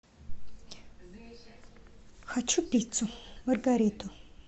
хочу пиццу маргариту